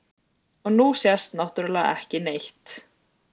Og nú sést náttúrlega ekki neitt.